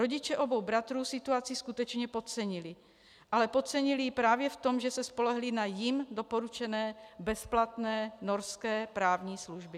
Rodiče obou bratrů situaci skutečně podcenili, ale podcenili ji právě v tom, že se spolehli na jim doporučené bezplatné norské právní služby.